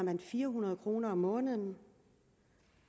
fire hundrede kroner om måneden